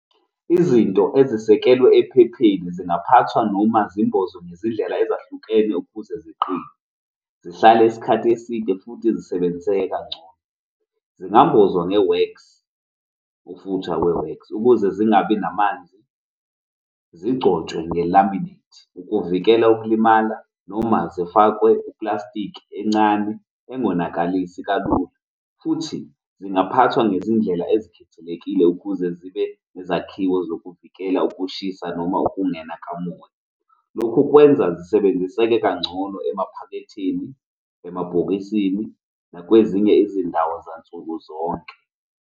Izinto ezisekelwe ephepheni zingaphathwa noma zimbozwe ngezindlela ezahlukene ukuze ziqine zihlale isikhathi eside futhi zisebenziseke kangcono. Zingambozwa nge-wax u-footer wax ukuze zingabi namanzi zingcotshwe nge-laminate ukuvikela ukulimala noma zifakwe i-plastic encane engonakalisi kalula. Futhi zingaphathwa ngezindlela ezikhethekile ukuze zibe nezakhiwo zokuvikela ukushisa noma ukungena kamoya. Lokhu kwenza zisebenziseke kangcono emaphaketheni, emabhokisini nakwezinye izindawo zansukuzonke.